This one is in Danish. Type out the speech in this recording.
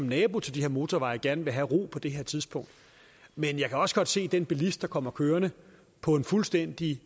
naboer til de her motorveje gerne vil have ro på det her tidspunkt men jeg kan også godt se den bilist der kommer kørende på en fuldstændig